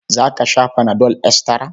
Za ka sha fana dol estira?